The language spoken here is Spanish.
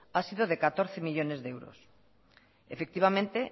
ha sido de catorce millónes de euros efectivamente